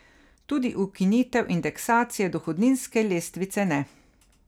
Tudi ukinitev indeksacije dohodninske lestvice ne.